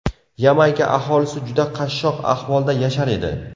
Yamayka aholisi juda qashshoq ahvolda yashar edi.